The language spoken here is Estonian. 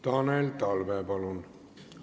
Tanel Talve, palun!